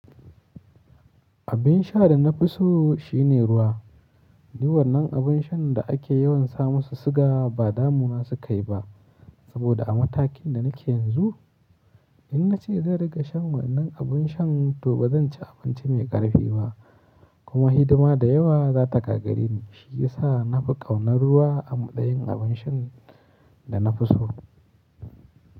Abin sha da na fi so shine ruwa. Ni wannan abin shan da ake yawan sa musu suga ba damuna sukayi ba. Saboda a matakin da nake yanzu in nace zan ringa shan wannan abin shan to bazan ci abinci mai ƙarfi ba kuma hidima da yawa za ta gagari ni, shi ya sa na fi ƙaunar ruwa a matsayin abin sha da na fi so.